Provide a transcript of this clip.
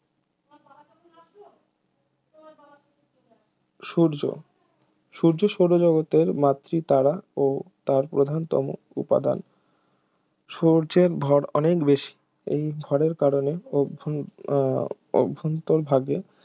সূর্য সূর্য সৌরজগতের মাতৃতারা ও তার প্রধানতম উপাদান সূর্যের ভর অনেক বেশি এই ভরের কারণে অভ্যন উহ অভ্যন্তরভাগে